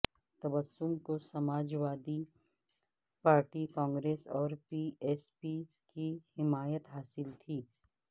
تبسم کو Samajwadi party Congress اور B S P کی حمایت حاصل تھی